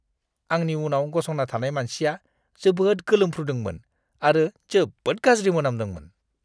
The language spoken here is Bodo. आंनि उनाव गसंना थानाय मानसिया जोबोद गोलोमफ्रुदोंमोन आरो जोबोद गाज्रि मोनामदोंमोन।